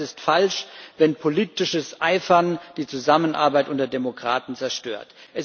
Aber es ist falsch, wenn politisches Eifern die Zusammenarbeit unter Demokraten zerstört.